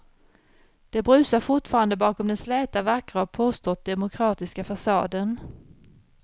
Det brusar fortfarande bakom den släta, vackra och påstått demokratiska fasaden.